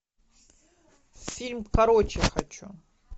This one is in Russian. фильм короче хочу